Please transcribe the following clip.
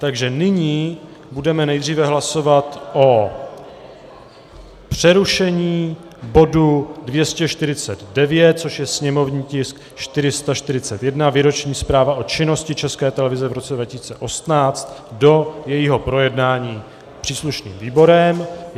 Takže nyní budeme nejdříve hlasovat o přerušení bodu 249, což je sněmovní tisk 441, Výroční zpráva o činnosti České televize v roce 2018, do jejího projednání příslušným výborem.